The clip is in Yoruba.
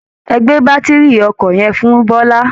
Ẹ gbé bátiri ọkọ̀ yẹn fún bọ́lá